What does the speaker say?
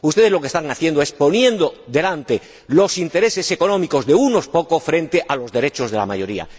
Ustedes lo que están haciendo es poner delante los intereses económicos de unos pocos frente a los derechos de la mayoría.